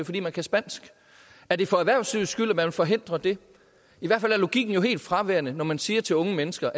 fordi man kan spansk er det for erhvervslivets skyld at man vil forhindre det i hvert fald er logikken jo helt fraværende når man siger til unge mennesker